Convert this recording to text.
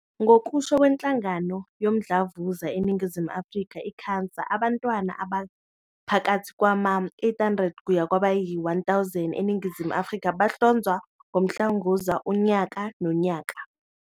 Ngokusho kweNhlangano Yomdlavuza eNingizimu Afrika, i-CANSA, abantwana abaphakathi kwama-800 kuya kwabayi-1 000 eNingizimu Afrika bahlonzwa ngomdlavuza unyaka nonyaka.